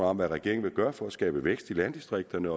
om hvad regeringen vil gøre for at skabe vækst i landdistrikterne